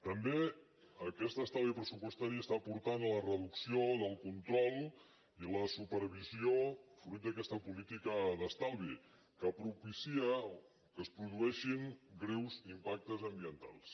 també aquest estalvi pressupostari està portant la reducció del control i la supervisió fruit d’aquesta política d’estalvi que propicia que es produeixin greus impactes ambientals